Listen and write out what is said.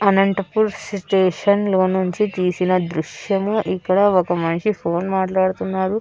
Anantapur station లో నుంచి తీసిన దృశ్యము ఇక్కడ ఒక మనిషి ఫోన్ మాట్లాడుతున్నాడు.